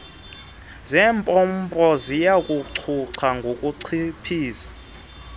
zeemopmpo ziyakucutha ukuchiphiza